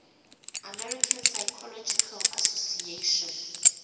american psychological association